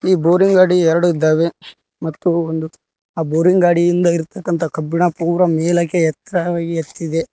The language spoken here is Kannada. ಈ ಬೋರಿನ ಗಾಡಿ ಎರಡು ಇದ್ದಾವೆ ಮತ್ತು ಒಂದು ಆ ಬೋರಿನ ಗಾಡಿಯಿಂದ ಇರತಕ್ಕಂತಹ ಕಬ್ಬಿನ ಪುರಾ ಮೇಲಕ್ಕೆ ಎತ್ತರವಾಗಿ ಎತ್ತಿದೆ.